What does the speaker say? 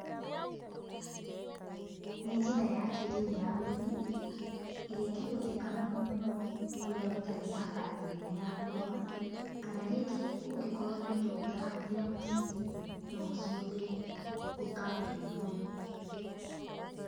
Nĩ njĩra ya kĩrĩu ya ũrĩmi ĩrĩa ĩngĩhũthĩka mũno mũno kũrĩa gũtarĩ na nabathi nene ya kũrĩma, kana rĩngĩ ũngĩkorwo na indo ũtarahũthĩra mũciĩ no ũcihũthĩre gwĩka ũrĩmi ũyũ.